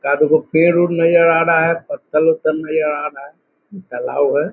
चार दूगो पेड़ उड़ नजर आ रहा है पत्थर-वत्तल नजर आ रहा है तालाब है।